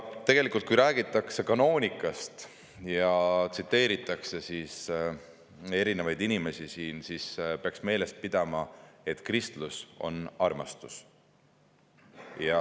Tegelikult, kui räägitakse kanoonikast ja tsiteeritakse erinevaid inimesi, siis peaks meeles pidama, et kristlus on armastus.